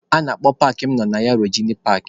A na-akpọ paakị mụ nọ na ya Rojenị paakị.